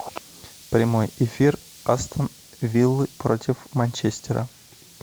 прямой эфир астон виллы против манчестера